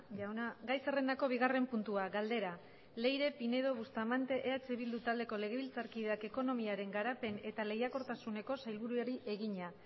jauna gai zerrendako bigarren puntua galdera leire pinedo bustamante eh bildu taldeko legebiltzarkideak ekonomiaren garapen eta lehiakortasuneko sailburuari egina